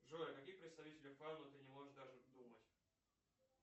джой о каких представителях фауны ты не можешь даже думать